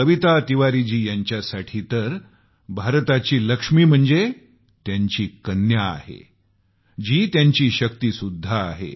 कविता तिवारीजी यांच्यासाठी तर भारताची लक्ष्मी त्यांची कन्या आहे जी त्यांची शक्तीसुद्धा आहे